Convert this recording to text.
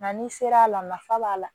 Nka n'i sera a la nafa b'a la